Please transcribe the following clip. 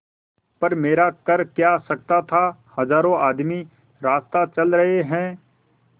पर मेरा कर क्या सकता था हजारों आदमी रास्ता चल रहे हैं